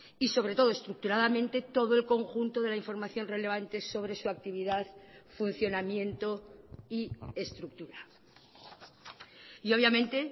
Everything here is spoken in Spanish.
y sobre todo estructuradamente todo el conjunto de la información relevante sobre su actividad funcionamiento y estructura y obviamente